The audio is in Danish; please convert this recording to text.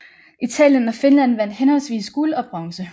Italien og Finland vandt henholdsvis guld og bronze